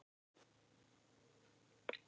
Liam, bókaðu hring í golf á miðvikudaginn.